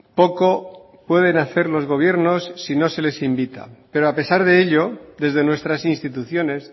poco pueden hacer los gobiernos si no se les invita pero a pesar de ello desde nuestras instituciones